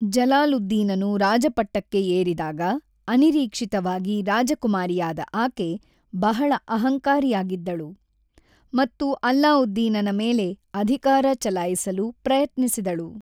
ಜಲಾಲುದ್ದೀನನು ರಾಜಪಟ್ಟಕ್ಕೆ ಏರಿದಾಗ ಅನಿರೀಕ್ಷಿತವಾಗಿ ರಾಜಕುಮಾರಿಯಾದ ಆಕೆ ಬಹಳ ಅಹಂಕಾರಿಯಾಗಿದ್ದಳು ಮತ್ತು ಅಲ್ಲಾವುದ್ದೀನನ ಮೇಲೆ ಅಧಿಕಾರ ಚಲಾಯಿಸಲು ಪ್ರಯತ್ನಿಸಿದಳು.